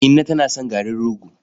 Inna tana son garin rogo.